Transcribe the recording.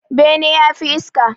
Bene yafi iska